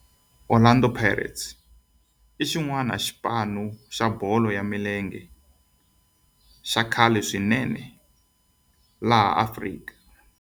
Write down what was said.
Orlando Pirates i yin'wana ya ti club ta bolo ya milenge ta khale swinene ta Afrika.